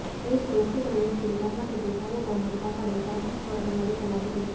ದೇಶದ ಒಕ್ಕೂಟ ವ್ಯವಸ್ಥೆಯಲ್ಲಿ ಕರ್ನಾಟಕದ ಸಾರ್ವಭೌಮತೆ ಕಾಪಾಡಲು ಸಾಕಷ್ಟು ಹೋರಾಟ ನಡೆಸಲಾಗಿದೆ